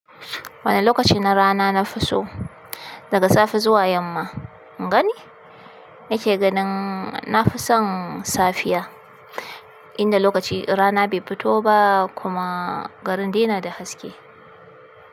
Wane lokaci na rana na fi so? Daga safe zuwa yamma. In gani? Nake ganin nafi son safiya, inda lokacin rana bai fito ba kuma garin dai na da haske.